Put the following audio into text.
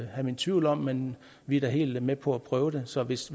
have mine tvivl om men vi er da helt med på at prøve det så hvis